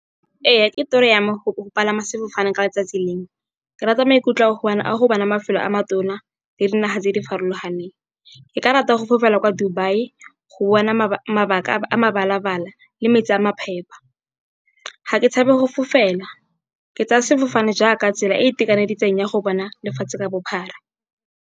Ee, ke toro ya me go palama sefofane ka letsatsi lengwe. Ke rata maikutlo a go bona mafelo a matona le dinaga tse di farologaneng. Ke ka rata go fofela kwa Dubai go bona mabaka a mabala-bala le metsi a maphepa. Ga ke tshabe go fofela, ke tsaya sefofane jaaka tsela e e itekaneditseng ya go bona lefatshe ka bophara.